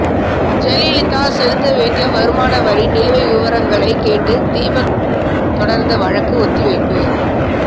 ஜெயலலிதா செலுத்த வேண்டிய வருமானவரி நிலுவை விவகாரங்களை கேட்டு தீபக் தொடர்ந்த வழக்கு ஒத்திவைப்பு